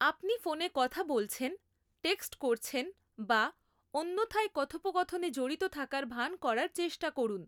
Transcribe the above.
আপনি ফোনে কথা বলছেন, টেক্সট করছেন বা অন্যথায় কথোপকথনে জড়িত থাকার ভান করার চেষ্টা করুন।